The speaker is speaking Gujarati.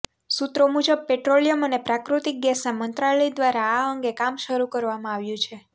સુત્રો મુજબ પેટ્રોલિયમ અને પ્રાકૃતિક ગેસના મંત્રાલય દ્વારા આ અંગે કામ શરૂ કરવામાં આવ્યું છે